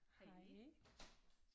Hej